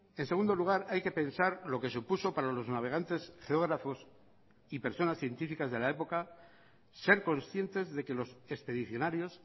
en segundo lugar hay que pensar lo que supuso para los navegantes geógrafos y personas científicas de la época ser conscientes de que los expedicionarios